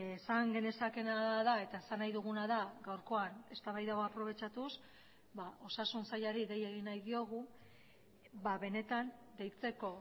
esan genezakeena da eta esan nahi duguna da gaurkoan eztabaida hau aprobetxatuz osasun sailari dei egin nahi diogu benetan deitzeko